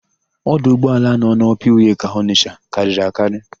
Ọdụ ụgbọala nọ n'Ọpa Iweka Ọnịsha karịrị akarị.